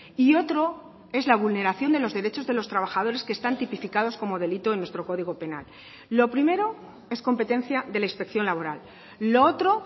y otro es la vulneración de los derechos de los trabajadores que están tipificados como delito en nuestro código penal lo primero es competencia de la inspección laboral lo otro